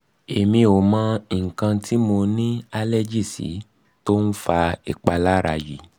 emi o mo ikan ti mo ni allergy si ti o n fa ipalara yi